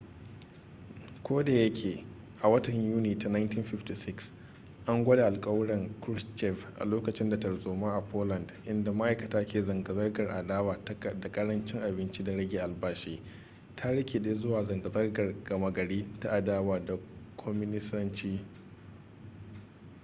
ko da yake a watan yuni ta 1956 an gwada alkawuran krushchev a lokacin da tarzoma a poland inda ma'aikata ke zanga-zangar adawa da ƙarancin abinci da rage albashi ta rikide zuwa zanga-zangar gama gari ta adawa da kwaminisanci